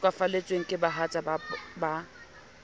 ba hlokahalletsweng ke bahatsa ba